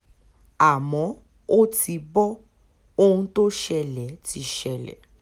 àmọ́ ó ti bo ohun tó ṣẹlẹ̀ ti ṣẹlẹ̀